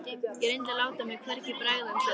Ég reyndi að láta mér hvergi bregða en sagði